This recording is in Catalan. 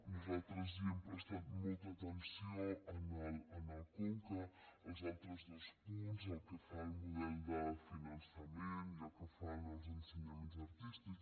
nosaltres hi hem prestat molta atenció al conca als altres dos punts pel que fa al model de finançament i pel que fa en els ensenyaments artístics